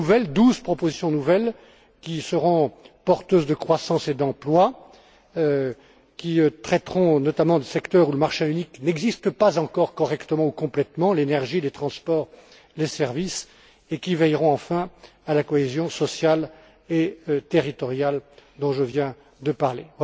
Douze propositions nouvelles qui seront porteuses de croissance et d'emploi, qui traiteront notamment de secteurs où le marché unique n'existe pas encore correctement ou complètement, l'énergie, les transports, les services, et qui veilleront, enfin, à la cohésion sociale et territoriale dont je viens de parler.